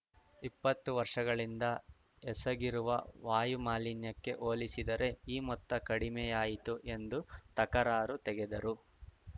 ಇಪ್ಪತ್ತು ವರ್ಷಗಳಿಂದ ಎಸಗಿರುವ ವಾಯು ಮಾಲಿನ್ಯಕ್ಕೆ ಹೋಲಿಸಿದರೆ ಈ ಮೊತ್ತ ಕಡಿಮೆ ಯಾಯಿತು ಎಂದು ತಕರಾರು ತೆಗೆದರು